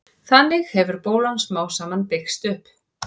þannig hefur bólan smám saman byggst upp